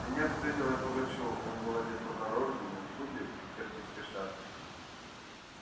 в сенях встретил я пугачёва он был одет по-дорожному в шубе и в киргизской шапке